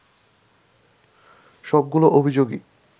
সবগুলো অভিযোগই